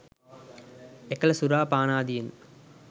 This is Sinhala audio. එකල සුරා පානාදියෙන්